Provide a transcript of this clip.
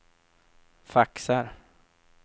faxar